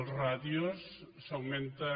les ràtios s’augmenten